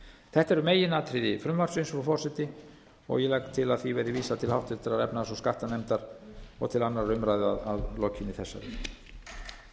þetta eru meginatriði frumvarpsins frú forseti og ég legg til að því verði vísað til háttvirtrar efnahags og skattanefndar og til annarrar umræðu að lokinni þessari